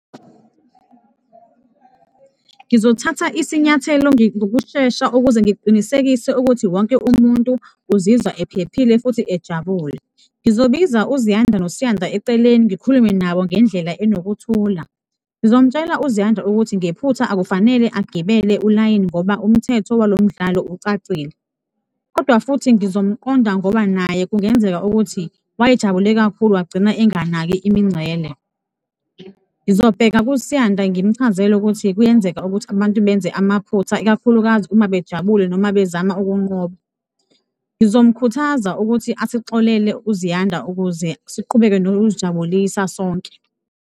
Ngizothatha isinyathelo ngokushesha ukuze ngiqinisekise ukuthi wonke umuntu uzizwa ephephile futhi ejabule. Ngizobiza uZiyanda noSiyanda eceleni, ngikhulume nabo ngendlela enokuthula, ngizomtshela uZiyanda ukuthi ngephutha akufanele agibele ulayini ngoba umthetho walomdlalo ucacile kodwa futhi ngizomqonda ngoba naye kungenzeka ukuthi wayejabule kakhulu, wagcina enganaki imingcele. Ngizobheka kuSiyanda ngimchazele ukuthi kuyenzeka ukuthi abantu benze amaphutha, ikakhulukazi uma bejabule noma bezama ukunqoba, ngizomkhuthaza ukuthi asixolele uZiyanda ukuze siqhubeke nokuzijabulisa sonke.